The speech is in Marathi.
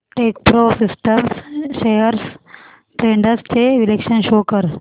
टेकप्रो सिस्टम्स शेअर्स ट्रेंड्स चे विश्लेषण शो कर